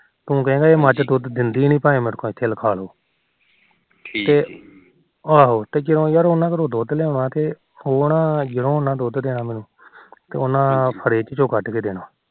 ਤੂੰ ਕਹਿਣਾ ਇਹ ਮੱਝ ਦੁਧ ਦਿੰਦੀ ਨਿ ਭਾਵੇ ਮੈਥੋ ਇਥੇ ਲਖਾਲੋ ਠੀਕ ਆਹੋ ਤੇ ਜਦੋਂ ਯਾਰ ਉਹਨਾ ਕੋਲੋ ਦੁਧ ਲਿਉਣਾ ਤੇ ਉਹ ਨਾ ਉਹਨਾ ਨੇ ਦੁਧ ਦੇਣਾ ਮੈਨੂੰ ਫਰਿਜ ਚੋ ਕੱਢ ਕੇ ਦੇਣਾ